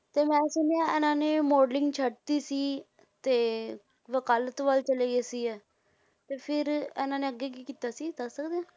ਤੇ ਮੈਂ ਸੁਣਿਆ ਇਹਨਾਂ ਨੇ modeling ਛੱਡ ਦਿੱਤੀ ਸੀ, ਤੇ ਵਕਾਲਤ ਵੱਲ ਚਲੇ ਗਏ ਸੀਗੇ, ਤੇ ਫਿਰ ਇਹਨਾਂ ਨੇ ਅੱਗੇ ਕੀ ਕੀਤਾ ਸੀ ਦੱਸ ਸਕਦੇ ਹੋ?